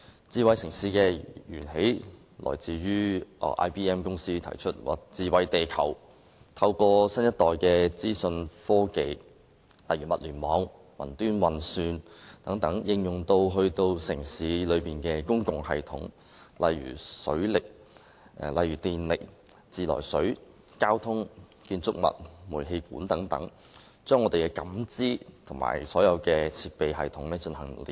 智慧城市的源起來自 IBM 公司提出的"智慧地球"概念，透過新一代資訊科技，例如物聯網、雲端運算等，應用於城市的公共系統，例如電力、自來水、交通、建築物和煤氣管等，把人們的感知和所有設備系統連繫起來。